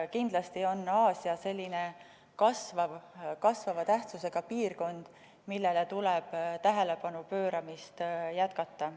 Kindlasti on Aasia selline kasvava tähtsusega piirkond, millele tähelepanu pööramist tuleb jätkata.